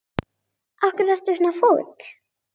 Af hverju ertu svona fúll?